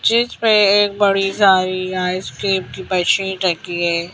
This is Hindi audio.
जिस पे एक बड़ी सारी आइसक्रीम की मशीन रखी है।